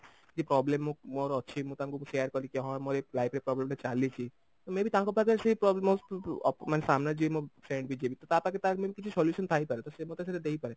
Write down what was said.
ଏମିତି problem ମୁଁ ମୋର ଅଛି ମୁଁ ତାଙ୍କୁ share କଲି କି ହଁ ମୋର ଏ life ରେ problem ଟା ଚାଲିଛି may ବେ ତାଙ୍କ ପାଖରେ ସେ problem ଅ ମାନେ ସାମ୍ନାରେ ଯିଏ ମୋ friend ବି ଯିଏ ବି ତ ତା ପାଖରେ ତାର main କିଛି solution ଥାଇ ପାରେ ତ ସେ ମୋତେ ସେଇଟା ଦେଇପାରେ